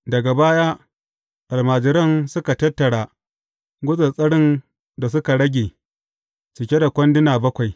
Daga baya, almajiran suka tattara gutsattsarin da suka rage cike da kwanduna bakwai.